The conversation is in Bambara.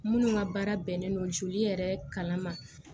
Minnu ka baara bɛnnen don joli yɛrɛ kala ma